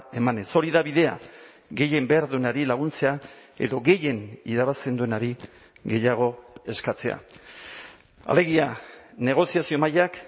emanez hori da bidea gehien behar duenari laguntzea edo gehien irabazten duenari gehiago eskatzea alegia negoziazio mailak